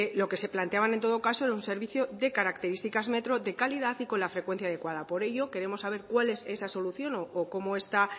lo que se planteaban en todo caso es un servicio de características metro de calidad y con la frecuencia adecuada por ello queremos saber cuál es esa solución o cómo está